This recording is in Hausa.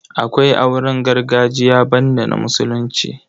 Akwai auren gargajiya banda na Musulunci.